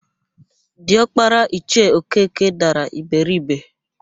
Diọkpara Ichie Okeke dara iberibe.